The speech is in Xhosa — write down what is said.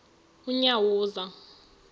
unyawuza